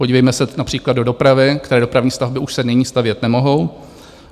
Podívejme se například do dopravy, které dopravní stavby už se nyní stavět nemohou.